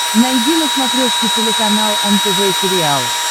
найди на смотрешке телеканал нтв сериал